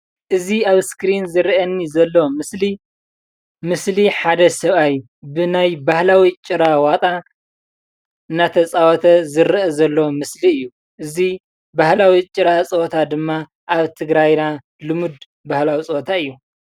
እዚ ኣብ ስክሪን ዝርአየኒ ዘሎ ምስሊ ምስሊ ሓደ ሰብኣይ ኾይኑ ባህላዊ ጭራጣ እናተፃወተ ዘርእያና እዬ። እዚ ባህላዊ ጭራጨወታ ኣብ ትግራይና ሉሙድ ባህላዊ ጨወታ እዩ።